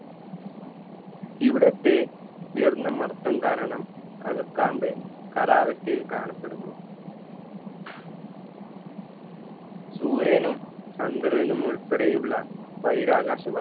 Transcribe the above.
ഇവിടത്തെ ഉയർന്ന മർദ്ദം കാരണം അകക്കാമ്പ് ഖരാവസ്ഥയിൽ കാണപ്പെടുന്നു സൂര്യനും ചന്ദ്രനുമുൾപ്പെടെയുള്ള ബഹിരാകാശ